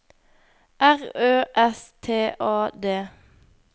R Ø S T A D